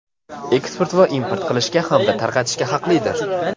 eksport va import qilishga hamda tarqatishga haqlidir.